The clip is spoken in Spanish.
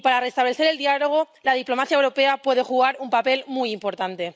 Y, para restablecer el diálogo, la diplomacia europea puede jugar un papel muy importante.